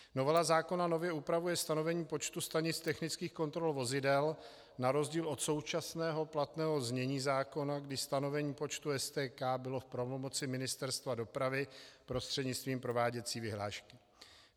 Novela zákona nově upravuje stanovení počtu stanic technických kontrol vozidel na rozdíl od současného platného znění zákona, kdy stanovení počtu STK bylo v pravomoci Ministerstva dopravy prostřednictvím prováděcí vyhlášky.